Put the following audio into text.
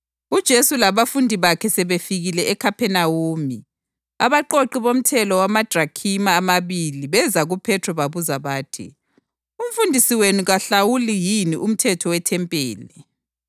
UJesu labafundi bakhe sebefikile eKhaphenawume, abaqoqi bomthelo wamadrakhima amabili beza kuPhethro babuza bathi, “Umfundisi wenu kawuhlawuli yini umthelo wethempeli?”